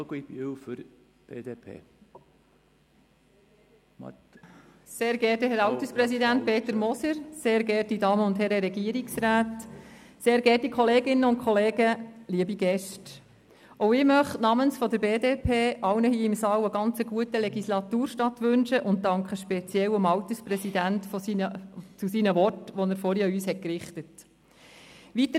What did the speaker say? Ich möchte namens der BDP allen hier im Saal einen guten Legislaturstart wünschen und danke besonders dem Alterspräsidenten für seine Worte, die er vorhin an uns gerichtet hat.